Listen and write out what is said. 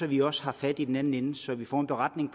vi også har fat i den anden ende og så vi får en beretning